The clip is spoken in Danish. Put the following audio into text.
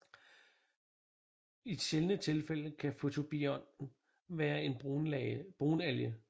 I sjældne tilfælde kan fotobionten være en brunalge